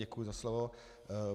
Děkuji za slovo.